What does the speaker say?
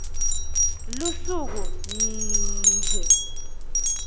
lusuku nnnnnnnnd d